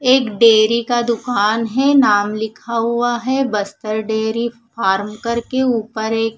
एक डेरी का दूकान है नाम लिखा हुआ है बस्तर डेरी फार्म करके ऊपर एक--